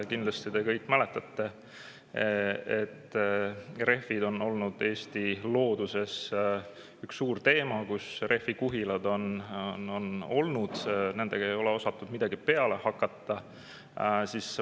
Kindlasti te kõik, et üks suur teema Eesti looduse puhul on rehvid, rehvikuhilad, millega ei ole osatud midagi peale hakata.